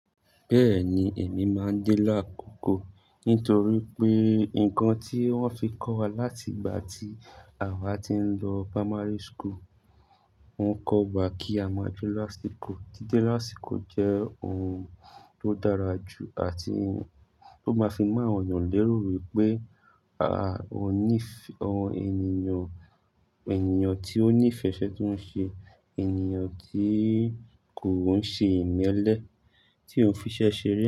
Bẹ́ẹ̀ni, èmi máa ń dé làákòko nítorí pé nǹkan tí wọ́n fi kọ́ wa láti ìgbà tí àwa ti ń lọ primary school. Wọ́n kọ́ wa kí a máa jù lásìkò. Dídé lásìkò jẹ́ ohun tó dára jù àti ohun tó máa fi mọ́ ènìyàn lérò wípé, à, oní ìfẹ́, ọ, ènìyàn, ènìyàn tí ó ní ìfẹ́ iṣẹ́ tó ń ṣe, ènìyàn tí kò ń ṣe ìmẹ́lẹ́, tí ó fiṣẹ́ ṣeré.